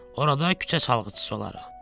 Orada küçə çalğıçısı olarıq.